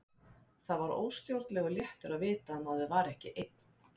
Það var óstjórnlegur léttir að vita að maður var ekki einn.